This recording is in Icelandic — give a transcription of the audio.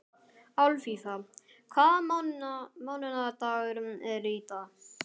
Alfífa, hvaða mánaðardagur er í dag?